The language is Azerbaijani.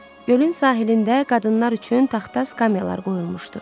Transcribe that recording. Gölün sahilində qadınlar üçün taxta skamyalar qoyulmuşdu.